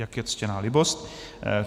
Jak je ctěná libost.